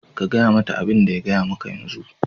Ka gaya mata abin da ya gaya maka a yanzu.